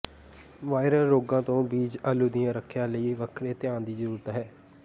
viral ਰੋਗਾਂ ਤੋਂ ਬੀਜ ਆਲੂ ਦੀ ਰੱਖਿਆ ਲਈ ਵੱਖਰੇ ਧਿਆਨ ਦੀ ਜ਼ਰੂਰਤ ਹੈ